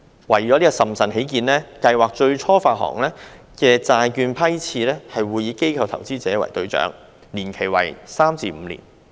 為審慎起見，計劃最初發行的債券批次會以機構投資者為對象，年期為3年至5年。